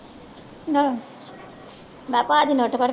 ਆਹ ਮੈਂ ਭਾਜੀ